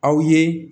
Aw ye